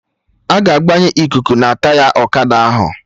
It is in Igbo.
Aga agbanye ikuku na Taya ọkada ahụ